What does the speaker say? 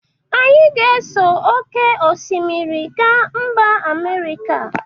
Anyị ga-eso oke osmiri ga mba Amerika.